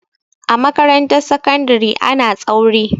A makarantar sakandari ana tsauri.